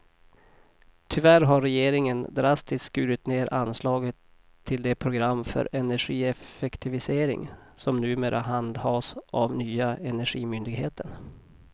Tyvärr har regeringen drastiskt skurit ned anslaget till det program för energieffektivisering som numera handhas av nya energimyndigheten.